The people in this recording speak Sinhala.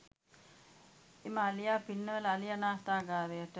එම අලියා පින්නවල අලි අනාථාගාරයට